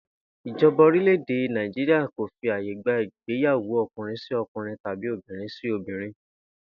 Ìjo̩ba orílè̩-èdè Nàìjíríà kò fi àyè gba ìgbéyàwó o̩kùnrin-sí-o̩kùnrin tàbí obìnrin-sí-obìnrin